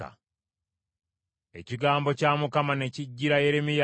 Ekigambo kya Mukama ne kijjira Yeremiya nti,